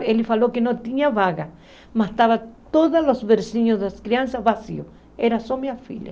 Ele falou que não tinha vaga, mas estavam todos os bersinhos das crianças vazios, era só minha filha.